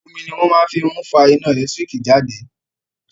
Omi ni wón máa fi ń fa iná ẹ̀lẹ́tíríkì jáde